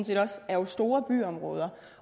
set også er jo store byområder